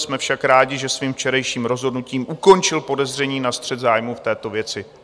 Jsme však rádi, že svým včerejším rozhodnutím ukončil podezření na střet zájmů v této věci.